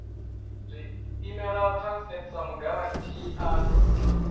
imela transnet sa mugarantii a